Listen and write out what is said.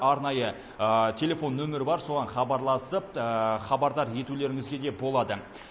арнайы телефон нөмірі бар соған хабарласып хабардар етулеріңізге де болады